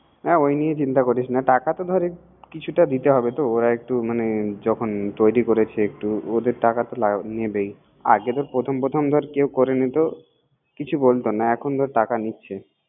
অ ওই নিয়া চিন্তা করিস না টাকা তো ধর কিছুটা দিতে হবে তোওরা একটু যখন তৈরি করেছেওরা টাকা তো নিবে আর প্রথম প্রথম করে নিতো কিছু বলত না